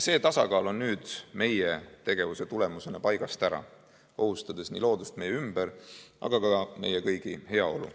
See tasakaal on nüüd meie tegevuse tagajärjel paigast ära, ohustades nii loodust meie ümber kui ka meie kõigi heaolu.